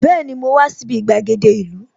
Bẹẹni, mo wá sí ibi gbàgede ìlú